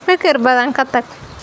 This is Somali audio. Fikir badan ka tag.